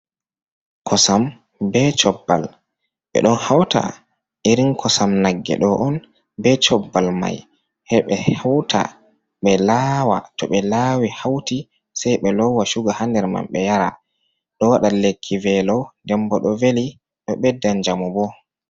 Kosam be cobbal, ɓe ɗon hauta irin kosam nagge ɗo on be cobbal mai heɓe hauta be lawa to ɓe lawi hauti sei be lowa suga hander man ɓe yara, ɗo waɗa lekki velo den bo ɗo veli, ɗo ɓedda njamu bo.